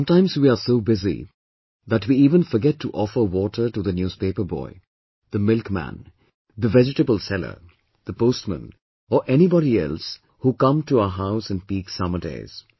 Sometimes we are so busy, that we even forget to offer water to the newspaper boy, the milkman, the vegetable seller, the postman or anybody else who come to our house in peak summer days